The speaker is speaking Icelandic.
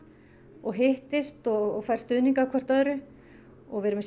og hittist og fær stuðning af hvort öðru og við erum með